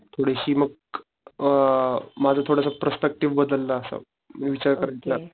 थोडीशी मग अ माझं थोडं प्रस्पेक्टिव्ह बद्दल असं विचार पालटला